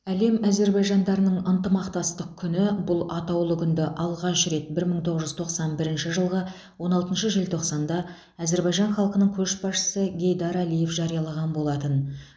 әлем әзербайжандарының ынтымақтастық күні бұл атаулы күнді алғаш рет бір мың тоғыз жүз тоқсан бірінші жылғы он алтыншы желтоқсанда әзербайжан халқының көшбасшысы гейдар алиев жариялаған болатын